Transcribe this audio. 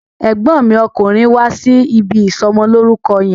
Ẹ̀gbọ́n mi okùnrin wá sí ibi ìsọmọlórúkọ yẹn.